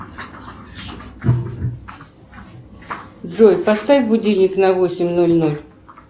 джой поставь будильник на восемь ноль ноль